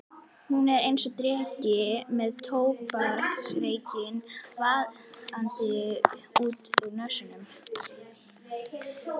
Hún er einsog dreki með tóbaksreykinn vaðandi út úr nösunum.